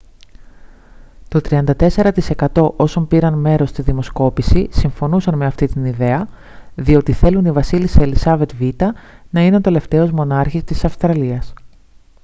το 34% όσων πήραν μέρος στη δημοσκόπηση συμφωνούσαν με αυτή την ιδέα διότι θέλουν η βασίλισσα ελισάβετ β΄να είναι ο τελευταίος μονάρχης της αυστραλίας